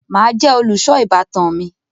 Màá jẹ olùṣọ ìbátan mi.